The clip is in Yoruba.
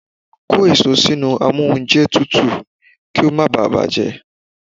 Kó èso sínú amóúnjẹtutù kí ó má báà bàjẹ́!